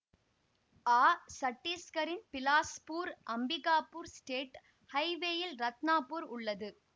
ஆ சட்டீஸ்கரின் பிலாஸ்பூர் அம்பிகாபூர் ஸ்டேட் ஹைவேயில் ரத்னாப்பூர் உள்ளது